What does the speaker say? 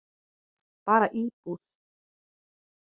Bara íbúð.